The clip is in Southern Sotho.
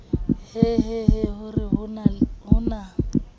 hehehe ho re ho na